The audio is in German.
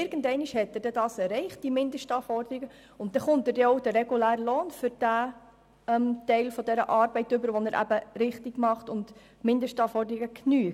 Irgendeinmal erreicht diese Person die Mindestanforderungen, und dann erhält sie auch den regulären Lohn für den Teil der Arbeit, den sie richtig ausführt und in welchem sie somit die Mindestanforderungen erfüllt.